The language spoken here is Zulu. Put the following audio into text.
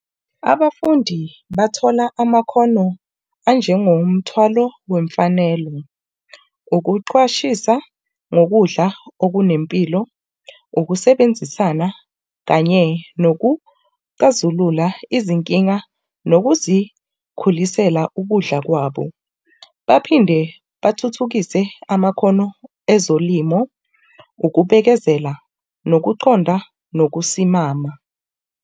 Abafundi bathola amakhono anjengomthwalo wemfanelo. Ukuqwashisa, nokudla okunempilo, ukusebenzisana kanye nokuxazulula izinkinga nokuzikhulisela ukudla kwabo. Baphinde bathuthukise amakhono ezolimo, ukubekezela, nokuconda, nokusimama.